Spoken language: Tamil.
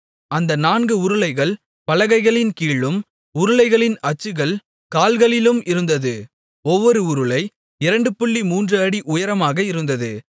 அந்த நான்கு உருளைகள் பலகைகளின் கீழும் உருளைகளின் அச்சுகள் கால்களிலும் இருந்தது ஒவ்வொரு உருளை 23 அடி உயரமாக இருந்தது